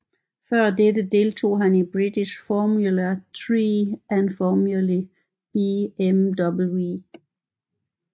Før dette deltog han i British Formula Three og Formula BMW